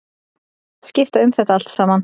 Skipta um þetta allt saman.